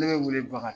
Ne bɛ wele baga